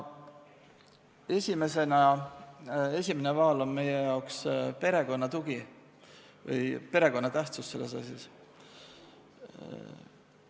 Esimene vaal selles asjas on meie arvates perekonna tugi, perekond on väga tähtis.